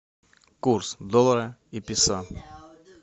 курс доллара и песо